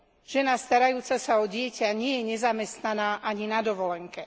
Žena starajúca sa o dieťa nie je nezamestnaná ani na dovolenke.